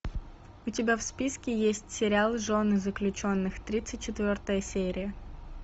у тебя в списке есть сериал жены заключенных тридцать четвертая серия